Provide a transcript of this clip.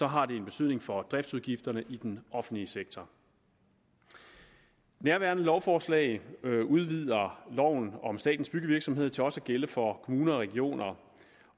har det en betydning for driftsudgifterne i den offentlige sektor nærværende lovforslag udvider loven om statens byggevirksomhed til også at gælde for kommuner og regioner